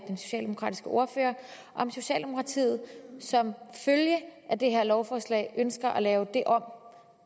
socialdemokratiske ordfører om socialdemokratiet som følge af det her lovforslag ønsker at lave om